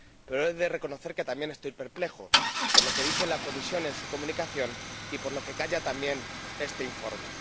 Pero he de reconocer que también estoy perplejo, por lo que dice la Comisión en su comunicación y por lo que calla también este informe.